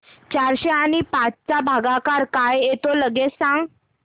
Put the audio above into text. चारशे आणि पाच चा भागाकार काय येतो लगेच सांग